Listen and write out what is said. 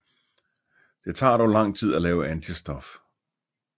Det tager dog lang tid at lave antistof